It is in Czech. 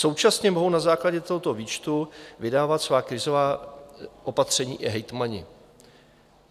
Současně mohou na základě tohoto výčtu vydávat svá krizová opatření i hejtmani.